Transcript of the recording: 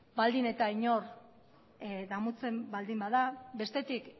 baldin eta inor damutzen baldin bada bestetik